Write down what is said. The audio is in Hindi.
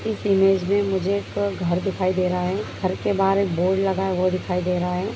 इस इमेज में मुझे एक घर दिखाई दे रहा है घर के बाहर एक बोर्ड लगा है वो दिखाई दे रहा है।